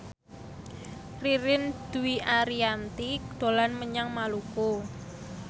Ririn Dwi Ariyanti dolan menyang Maluku